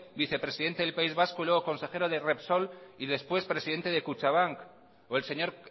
vicepresidente del país vasco y luego consejero de repsol y después presidente de kutxabank o el señor